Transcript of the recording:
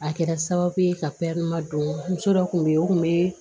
A kɛra sababu ye ka don muso dɔ kun bɛ yen o kun bɛ